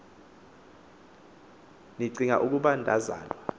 nicing ukuba ndazalwa